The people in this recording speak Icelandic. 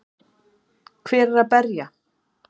Hver er að berja?